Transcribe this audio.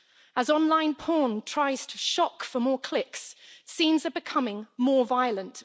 As online porn tries to shock for more clicks, scenes are becoming more violent.